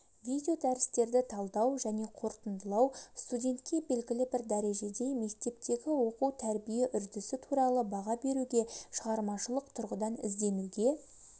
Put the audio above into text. видеодәрістерді талдау және қорытындылау студентке белгілі бір дәрежеде мектептегі оқу-тәрбие үрдісі туралы баға беруге шығармашылық тұрғыдан ізденуге